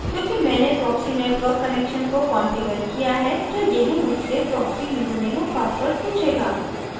क्योंकि मैंने proxy network connection को कॉन्फ़िगर किया है तो यह मुझसे proxy यूज़रनेम और password पूछेगा